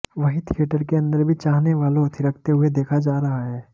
वहीं थिएटर के अंदर भी चाहने वालों थिरकते हुए देखा जा रहा है